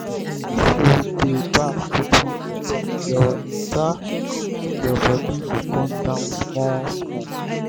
if you dey baff wit warm water your water your body go come down small-small.